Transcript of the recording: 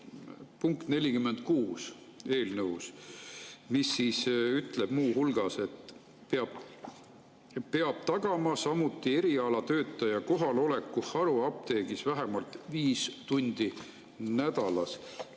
Eelnõu punkt 46 ütleb muu hulgas, et peab tagama erialatöötaja kohaloleku haruapteegis vähemalt viis tundi nädalas.